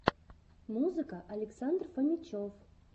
музыка александр фомичев